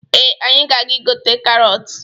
Ee, anyị ga-aga igote karọtụ.